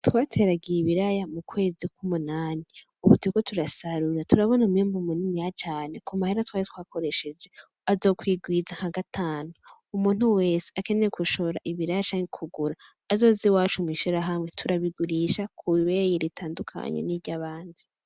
Twateragiye ibiraya mukwezi kw'umunani, ubu turiko turasarura. Turabona umwimbu muniniya cane. Kumahera twari twakoresheje, azokwigwiza nka gatanu. Umuntu wese akeneye gushora ibiraya canke kugura azoze iwacu mw'ishirahamwe, turabigurisha kw'ibeyi ritandukanye n'iry'abandi.